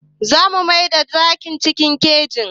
Za mu maida zakin cikin keji.